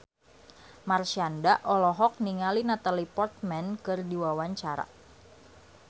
Marshanda olohok ningali Natalie Portman keur diwawancara